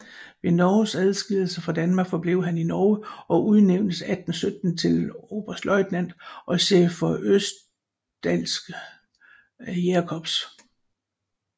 Ved Norges adskillelse fra Danmark forblev han i Norge og udnævntes 1817 til oberstløjtnant og chef for Østerdalske Jægerkorps